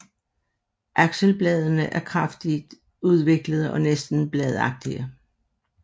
Akselbladene er kraftigt udviklede og næsten bladagtige